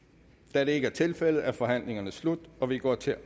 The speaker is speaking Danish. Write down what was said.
da det ikke er tilfældet er forhandlingen sluttet og vi går til